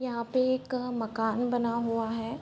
यहाँ पे एक मकान बना हुआ है ।